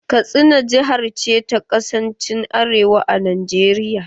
Katsina jihar ce ta kasan arewa a Najeriya